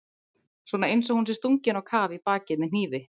Svona einsog hún sé stungin á kaf í bakið með hnífi.